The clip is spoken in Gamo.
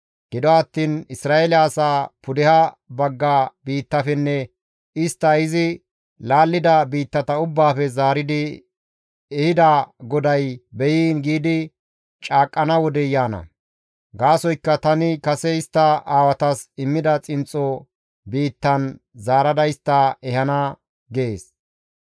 ‹Gido attiin Isra7eele asaa pudeha bagga biittafenne istta izi laallida biittata ubbaafe zaaridi ehida GODAY beyiin› giidi caaqqana wodey yaana; gaasoykka tani kase istta aawatas immida xinxxo biittan zaarada istta ehana» gees.